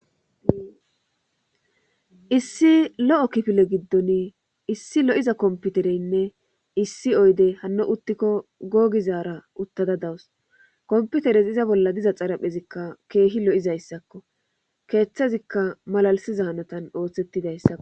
issi lo7o kifile giddon issi lo7iza komputereynne issi oyde hanno uttikko googizaara uttada dawus komputeres iza bolla diza xaraphezikka keehi lo7izayssakko keeththezikka malalisiza hanotan ooththettidayssakko